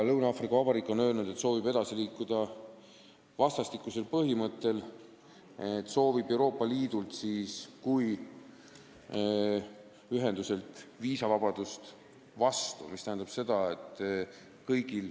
Lõuna-Aafrika Vabariik on öelnud, et ta soovib edasi liikuda vastastikkuse põhimõttel, ta soovib Euroopa Liidult kui ühenduselt vastu viisavabadust.